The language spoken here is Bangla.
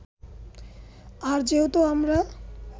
আর যেহেতু আমরা